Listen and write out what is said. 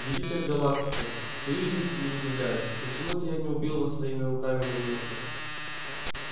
великая галактика стою здесь и удивляюсь почему это я не убил вас своими руками на месте